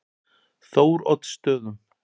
Þóroddsstöðum